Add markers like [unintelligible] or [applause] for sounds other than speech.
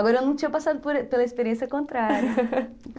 Agora, eu não tinha passado [unintelligible] pela experiência contrária [laughs]